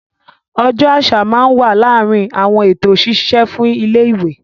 Ọjọ́ àṣà naa wa láàrin àwọn eto ṣiṣe fún ilẹ ìwé.